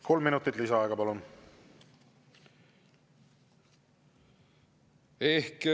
Kolm minutit lisaaega, palun!